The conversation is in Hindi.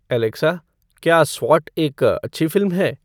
एलेक्सा क्या स्वाट एक अच्छी फ़िल्म है